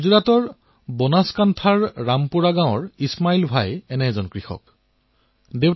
গুজৰাটত বনাসংকাঠাৰ ৰামপুৱা গাঁৱত ইছমাইল ভাই নামৰ এজন কৃষক আছে